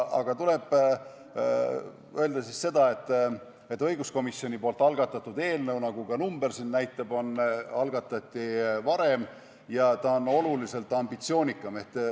Aga tuleb öelda seda, et õiguskomisjoni algatatud eelnõu, nagu ka number näitab, algatati varem ja ta on oluliselt ambitsioonikam.